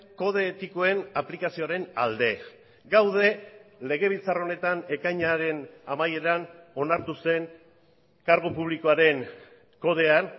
kode etikoen aplikazioaren alde gaude legebiltzar honetan ekainaren amaieran onartu zen kargu publikoaren kodean